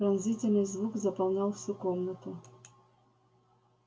пронзительный звук заполнял всю комнату